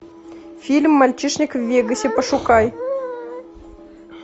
фильм мальчишник в вегасе пошукай